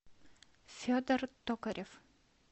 федор токарев